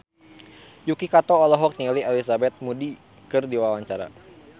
Yuki Kato olohok ningali Elizabeth Moody keur diwawancara